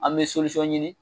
An bɛ ɲini